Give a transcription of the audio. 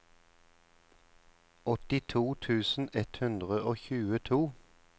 åttito tusen ett hundre og tjueto